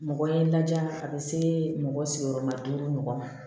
Mɔgɔ ye n laja a be se mɔgɔ sigiyɔrɔmaden mɔgɔ ma